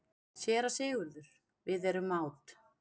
SÉRA SIGURÐUR: Við erum mát.